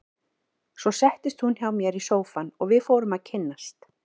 Svo settist hún hjá mér í sófann og við fórum að kynnast.